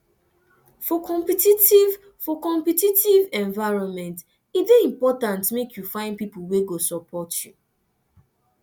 for competitive for competitive environment e dey important make you find pipo wey go support you